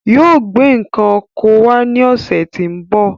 Yóò gbé n̄ ǹkan oko náà wá ní ọ̀sẹ̀ tí ń bọ̀.